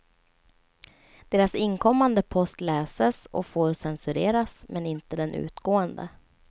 Deras inkommande post läses och får censureras, men inte den utgående.